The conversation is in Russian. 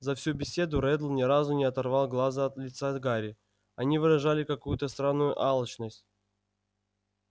за всю беседу реддл ни разу не оторвал глаз от лица гарри они выражали какую-то странную алчность